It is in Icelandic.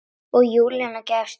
Og Júlía gefst upp.